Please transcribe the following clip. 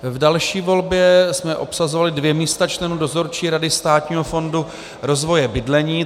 V další volbě jsme obsazovali dvě místa členů Dozorčí rady Státního fondu rozvoje bydlení.